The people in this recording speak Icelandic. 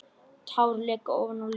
Tár leka ofan á letrið.